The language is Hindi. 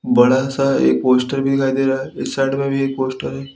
बड़ा सा एक पोस्टर भी दिखाई दे रहा है इस साइड में भी एक पोस्टर है।